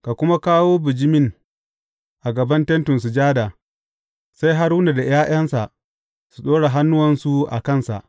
Ka kuma kawo bijimin a gaban Tentin Sujada, sai Haruna da ’ya’yansa su ɗora hannuwansu a kansa.